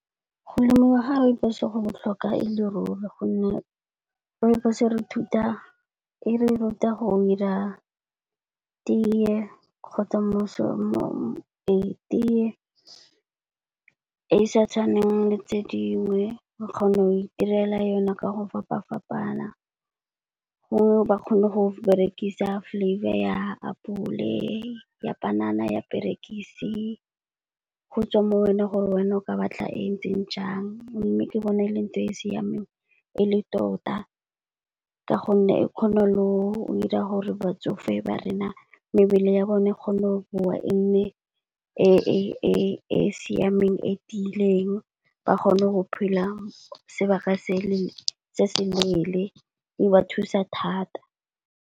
Go lemiwa ga Rooibos go botlhokwa e le ruri gonne Rooibos e re ruta go ira teye kgotsa teye e sa tshwaneng le tse dingwe, o kgona go itirela yone ka go fapa-fapana. Go ba kgone go berekisa flavour ya apole, ya panana, ya perekisi, go tswa mo go wena gore wena o ka ba tla e ntseng jang. Mme ke bona e le nngwe e e siameng e le tota ka gonne e kgone le go ira gore batsofe ba rena mebele ya bone e kgone go bowa e nne e e siameng, e tiileng ba kgone go phela sebaka se se leele di ba thusa thata.